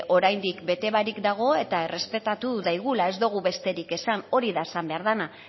oraindik bete barik dago eta errespetatu daigula ez dugu besterik esan hori da esan behar dena